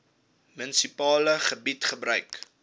munisipale gebied gebruik